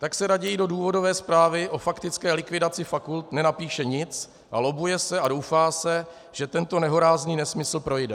Tak se raději do důvodové zprávy o faktické likvidaci fakult nenapíše nic a lobbuje se a doufá se, že tento nehorázný nesmysl projde.